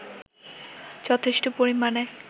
যথেষ্ট পরিমাণে